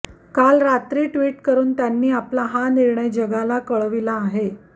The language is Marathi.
काल रात्री टिव्टकरून त्यांनी आपला हा निणर्य जगाला कळविला आहे